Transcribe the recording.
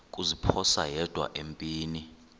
kuziphosa yedwa empini